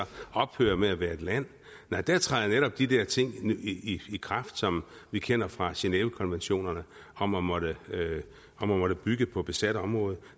ophørte med at være et land nej der træder netop de der ting i i kraft som vi kender fra genèvekonventionerne om at måtte at måtte bygge på besat område